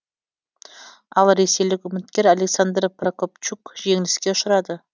ал ресейлік үміткер александр прокопчук жеңіліске ұшырады